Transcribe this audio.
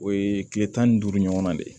O ye tile tan ni duuru ɲɔgɔnna de ye